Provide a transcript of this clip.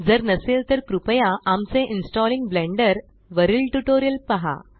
जर नसेल तर कृपया आमचे इन्स्टॉलिंग Blenderवरील ट्यूटोरियल पहा